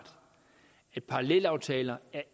at parallelaftaler